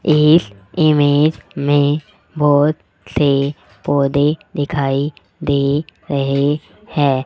एक इमेज में बहुत से पौधे दिखाई दे रहे हैं।